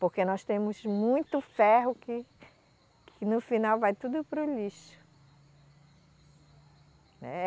Porque nós temos muito ferro que, que no final vai tudo para o lixo. É